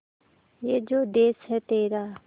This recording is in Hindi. ये जो देस है तेरा